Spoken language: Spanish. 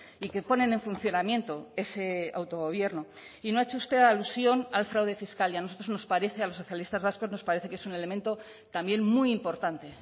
y que ponen en funcionamiento ese autogobierno y no ha hecho usted alusión al fraude fiscal y a nosotros nos parece a los socialistas vascos nos parece que es un elemento también muy importante